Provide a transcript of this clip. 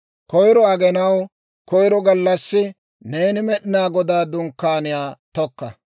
«Koyro aginaw koyro gallassi, neeni Med'inaa Godaa Dunkkaaniyaa tokka.